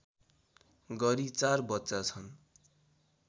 गरी ४ बच्चा छन्